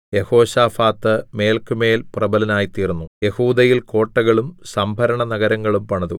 യെഹോശാഫാത്ത് മേല്ക്കുമേൽ പ്രബലനായിത്തീർന്നു യെഹൂദയിൽ കോട്ടകളും സംഭരണ നഗരങ്ങളും പണിതു